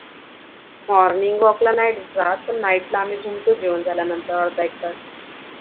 Morning walk ला नाही जात पण Night ला आम्ही फिरतो जेवण झाल्या वर अर्धा एकतास